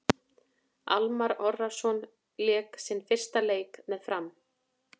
Almarr Ormarsson lék sinn fyrsta leik með Fram.